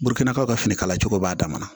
Burukinaw ka fini kala cogo b'a dama